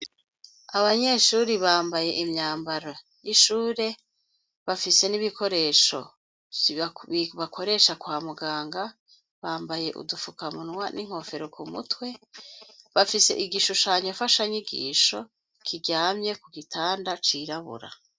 Abanyeshuri bambaye imyambaro y'ishure bafise n'ibikoresho siibakoresha kwa muganga bambaye udufukamunwa n'inkofero ku mutwe bafise igishushanyo fasha nyigisho kiryamye ku gitanda cirabura.